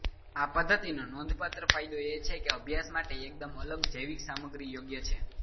આ પદ્ધતિનો નોંધપાત્ર ફાયદો એ છે કે અભ્યાસ માટે એકદમ અલગ જૈવિક સામગ્રી યોગ્ય છે